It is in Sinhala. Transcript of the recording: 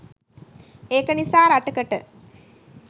ඒක නිසා රටකට